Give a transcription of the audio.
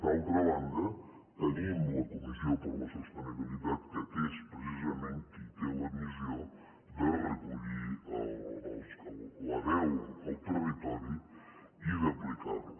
d’altra banda tenim la comissió per a la sostenibilitat que és precisament qui té la missió de recollir la veu al territori i d’aplicar la